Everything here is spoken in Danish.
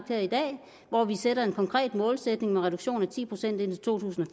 her i dag og hvor vi sætter en konkret målsætning med reduktion af ti procent indtil to tusind og